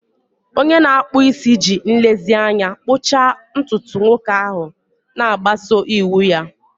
Onye na-akpụ isi ji nlezianya kpụchaa ntutu nwoke ahụ, na-agbaso iwu ya.